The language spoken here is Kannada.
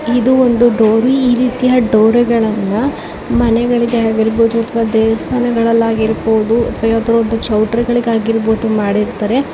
ಇದು ಒಂದು ಡೋರ್ ಈ ರೀತಿಯ ದೊರಿಗಳನ್ನು ಮನೆಗಳಿಗೆ ಆಗಿರಬಹುದು. ದೇವಸ್ಥಾನಗಳಲ್ಲಿ ಆಗಿರಬಹುದು ಚೌಟರಿಗಳಿಗೆ ಮಾಡಿರುತ್ತಾರೆ.